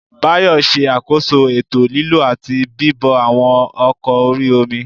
Báyọ̀ ṣe àkóso ètò lílọ àti bíbọ̀ àwọn ọkọ̀ orí-omi